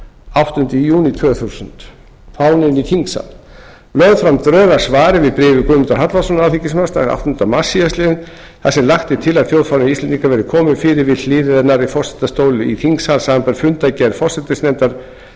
áttunda júní tvö þúsund fámenni í þingsal lögð fram drög að svari við bréfi guðmundar hallvarðssonar alþingismanns það er áttunda mars síðastliðinn þar sem lagt er til að þjóðfána íslendinga verði komið fyrir við hliðina á forsetastóli í þingsal samanber fundargerð forsætisnefndar